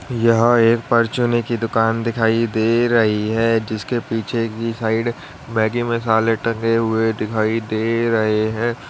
यहां एक परचूनी की दुकान दिखाई दे रही है जिसके पीछे की साइड मैगी मसाले टंगे हुए दिखाई दे रहे हैं।